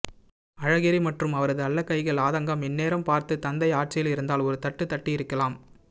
அழகிரி மற்றும் அவரது அல்லக்கைகள் ஆதங்கம் இந்நேரம் பார்த்து தந்தை ஆட்சியில் இருந்தால் ஒருத்தட்டு தட்டியிருக்கலாம்